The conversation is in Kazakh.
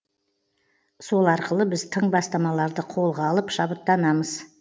сол арқылы біз тың бастамаларды қолға алып шабыттанамыз